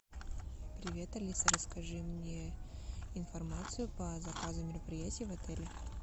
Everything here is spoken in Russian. привет алиса расскажи мне информацию по заказу мероприятий в отеле